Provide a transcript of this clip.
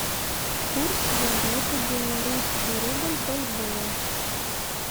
курс валюты белорусский рубль бальбоа